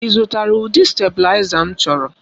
Ị zụtara ụdị stabụlaiza m chọrọ?